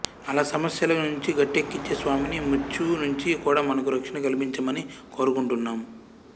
అలా సమస్యల నుంచి గట్టెక్కించే స్వామిని మృత్యువు నుంచి కూడా మనకు రక్షణ కల్పించమని కోరుకుంటున్నాం